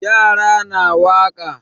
Yara na waƙa.